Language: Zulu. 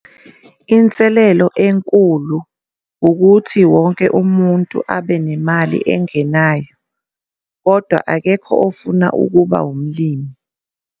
Inselelo enkulu ukuthi wonke umuntu abe nemali engenayo, kodwa akekho ofuna ukuba umlimi.